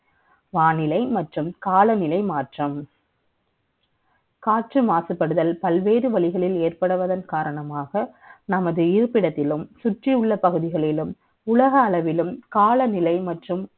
வானிலை மற்றும் காலநிலை மாற்றம் . காற்று மாசுபடுதல் பல்வேறு வழிகளில் ஏற்படுவதன் காரணமாக நமது இருப்பிடத்திலும் சுற்றியுள்ள பகுதிகளிலும் உலக அளவில் காலநிலையில் மற்றும்